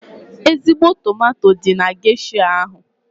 Ezigbo tomato dị na gesha ahụ.